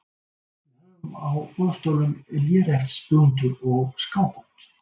Við höfum á boðstólum léreftsblúndur og skábönd.